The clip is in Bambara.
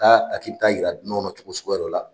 a k'i be taa yira dunanw na cogo suguya dɔ la